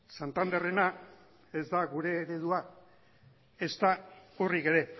santanderrena ez da gure eredua ezta urrik ere